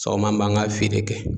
Sɔgɔma an b'an ka feere kɛ.